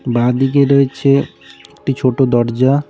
বাঁদিকে রয়েছে একটি ছোটো দরজা।